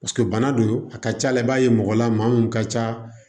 Paseke bana don a ka ca la i b'a ye mɔgɔ la maa mun ka ca